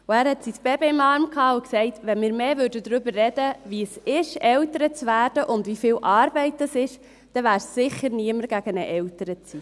Er hatte sein Baby im Arm und sagte: «Wenn wir mehr darüber reden würden, wie es ist, Eltern zu werden, und wie viel Arbeit dies bedeutet, dann wäre sicher niemand gegen eine Elternzeit.